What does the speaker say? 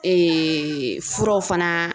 furaw fana